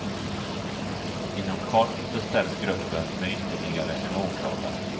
Inom kort förstärks gruppen med ytterligare en åklagare.